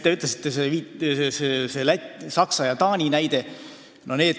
Te tõite ka Saksa ja Taani näite.